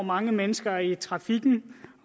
år mange mennesker i trafikken